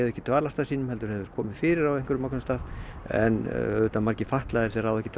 ekki dvalarstað sínum heldur hefði komið fyrir á ákveðnum stað en auðvitað eru margir fatlaðir sem ráða ekki